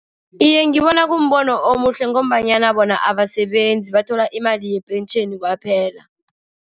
Iye, ngibona kumbono omuhle ngombanyana bona abasebenzi, bathola imali yepentjheni kwaphela.